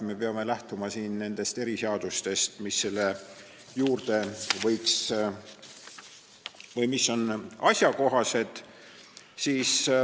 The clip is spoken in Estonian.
Me peame lähtuma nendest eriseadustest, mis on asjakohased.